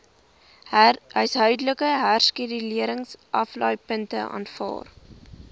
huishoudelike hersirkuleringsaflaaipunte aanvaar